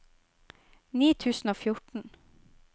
ni tusen og fjorten